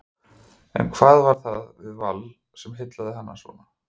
En hvað var það við Vals sem heillaði hann svona?